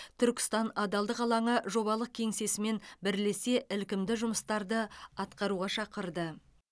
түркістан адалдық алаңы жобалық кеңсесімен бірлесе ілкімді жұмыстарды атқаруға шақырды